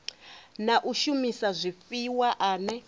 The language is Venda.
na u shumisa zwifhiwa ane